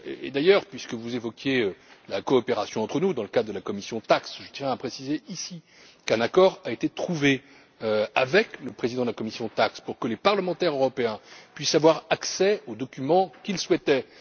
D'ailleurs, puisque vous évoquiez la coopération entre nous, dans le cadre de la commission TAXE, je tiens à préciser ici qu'un accord a été trouvé avec le président de cette commission pour que les parlementaires européens puissent avoir accès aux documents qu'ils souhaitent.